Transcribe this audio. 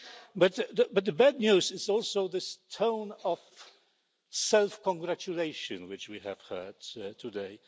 But the bad news is also the tone of self congratulation which we have heard today.